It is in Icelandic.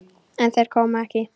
En þeir koma ekki.